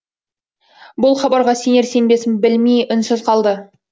бұл хабарға сенер сенбесін білмей үнсіз қалды